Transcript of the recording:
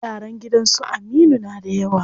Yaran gidan su Aminu na da yawa.